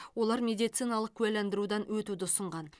олар медициналық куәландырудан өтуді ұсынған